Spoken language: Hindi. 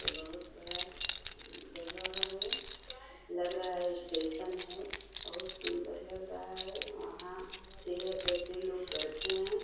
यह बहोत बड़ा जगह है। लग रहा है स्टेशन है। बहोत सुन्दर लग रहा है। वहाँ चेयर पर काफी लोग बैठे हैं।